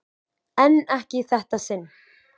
En ekki í þetta sinn.